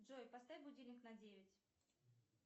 джой поставь будильник на девять